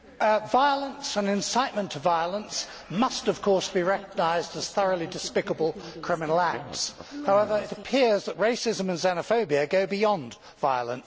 Violence and incitement to violence must of course be recognised as thoroughly despicable criminal acts. However, it appears that racism and xenophobia go beyond violence.